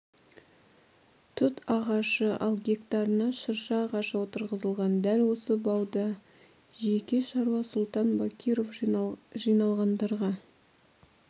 тұт ағашы ал гектарына шырша ағашы отырғызылған дәл осы бауда жеке шаруа сұлтан бакиров жиналғандарға